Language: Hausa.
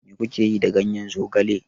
Mai ku ke yi da ganyen zogale?